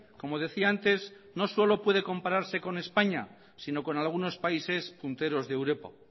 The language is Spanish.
como decía antes no solo puede compararse con españa sino con algunos países punteros de europa